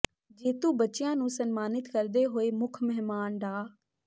ਜੇਤੂ ਬੱਚਿਆ ਨੂੰ ਸਨਮਾਨਿਤ ਕਰਦੇ ਹੋਏ ਮੁੱਖ ਮਹਿਮਾਨ ਡਾ